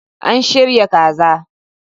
An shirya kaza.